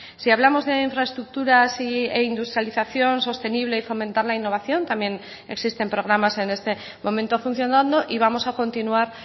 si hablamos de infraestructuras e industrialización sostenible y fomentar la innovación también existen programas en este momento funcionando y vamos a continuar